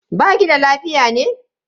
Baki da lafiya ne?